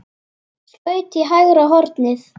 Skaut í hægra hornið.